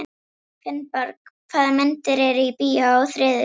Finnbjörg, hvaða myndir eru í bíó á þriðjudaginn?